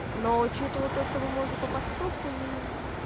но учитывал то что мы можем попасть в пробку ни